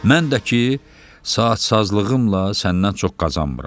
Mən də ki, saat sazlığımla səndən çox qazanmıram.